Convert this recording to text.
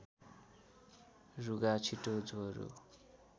रुघा छिटो ज्वरो